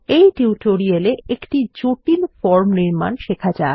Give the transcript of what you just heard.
এই টিউটোরিয়ালে একটি জটিল ফর্ম নির্মাণ শেখা যাক